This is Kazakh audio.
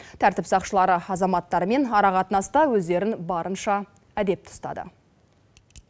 тәртіп сақшылары азаматтармен ара қатынаста өздерін барынша әдепті ұстады